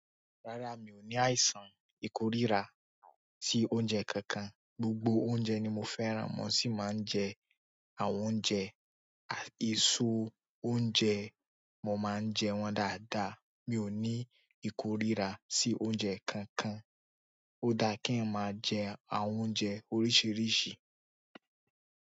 Rárá, mi ò ní àìsàn ìkórira sí oúnjẹ kankan. Gbogbo oúnjẹ ni mo fẹ́ràn. Mo sì máa ń jẹ àwọn oúnjẹ. À iso oúnjẹ, mo máa ń jẹ wọ́n dáadáa. Mi ò ní ìkórira sí oúnjẹ kankan. Ó dáa kí eeyan máa jẹ àwọn oúnjẹ oríṣiríṣi.